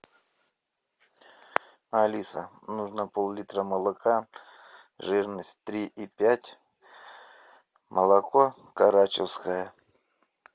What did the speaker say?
алиса нужно пол литра молока жирность три и пять молоко карачевское